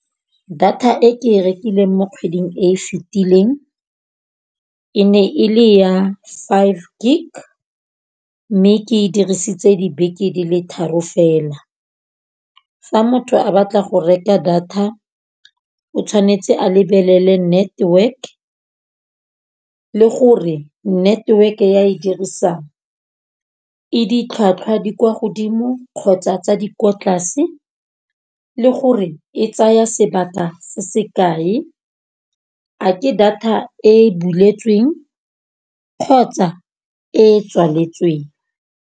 Data e ke e rekileng mo kgweding e fitileng e ne e le ya five gig. Mme ke e dirisitse dibeke di le tharo fela. Fa motho a batla go reka data o tshwanetse a lebelele network le gore network ya a e dirisang e ditlhwatlhwa di kwa godimo, kgotsa tsa di kwa tlase le gore e tsaya sebaka se sekae, a ke data e boletsweng kgotsa e tswaletsweng.